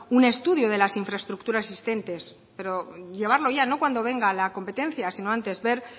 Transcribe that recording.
un estudio de las infraestructuras existentes pero llevarlo ya no cuando venga la competencia sino antes ver